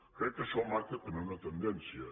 crec que això marca també una tendència